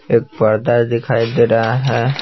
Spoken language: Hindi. एक पर्दा दिखाई दे रहा है।